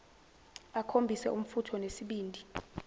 akhombise umfutho nesibindi